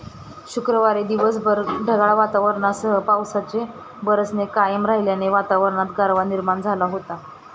शुक्रवारी दिवसभर ढगाळ वातावरणासह पावसाचे बरसणे कायम राहिल्याने वातावरणात गारवा निर्माण झाला होता.